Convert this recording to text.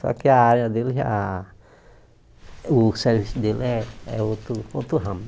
Só que a área dele já... o serviço dele é é outro outro ramo.